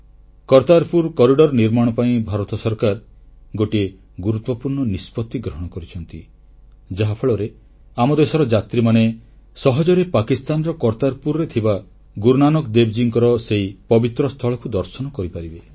Kartarpur corridor ନିର୍ମାଣ ପାଇଁ ଭାରତ ସରକାର ଗୋଟିଏ ଗୁରୁତ୍ୱପୂର୍ଣ୍ଣ ନିଷ୍ପତ୍ତି ଗ୍ରହଣ କରିଛନ୍ତି ଯାହାଫଳରେ ଆମ ଦେଶର ଯାତ୍ରୀମାନେ ସହଜରେ ପାକିସ୍ତାନର କର୍ତ୍ତାରପୁରରେ ଥିବା ଗୁରୁନାନକ ଦେବଙ୍କ ସେହି ପବିତ୍ର ସ୍ଥଳକୁ ଦର୍ଶନ କରିପାରିବେ